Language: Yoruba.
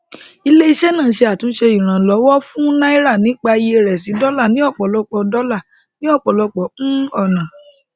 ilé iṣẹ náà túnṣe ìrànlówọ fún náírà nípa iye rẹ sí dọlà ní ọpọlọpọ dọlà ní ọpọlọpọ um ọnà